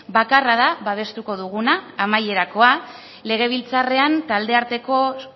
bakarra da babestuko duguna amaierakoa legebiltzarrean